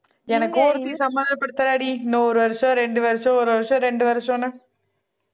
எனக்கும் ஒருத்தி சமாதானப்படுத்தராடி இன்னும் ஒரு வருஷம் ரெண்டு வருஷம் ஒரு வருஷம் ரெண்டு வருஷம்ன்னு